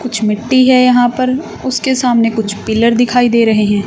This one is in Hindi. कुछ मिट्टी है यहां पर उसके सामने कुछ पिलर दिखाई दे रहे हैं।